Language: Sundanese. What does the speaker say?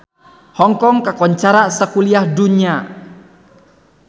Hong Kong kakoncara sakuliah dunya